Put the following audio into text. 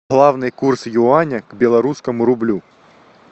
главный курс юаня к белорусскому рублю